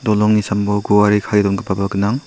dolongni sambao guare kae dongipaba gnang.